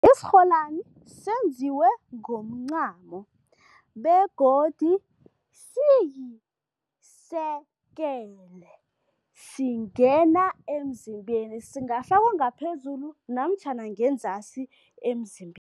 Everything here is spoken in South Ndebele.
Isirholwani senziwe ngomncamo begodu siyi-circle, singena emzimbeni. Singafakwa ngaphezulu namtjhana ngenzasi emzimbeni.